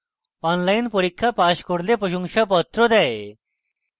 online পরীক্ষা pass করলে প্রশংসাপত্র দেয়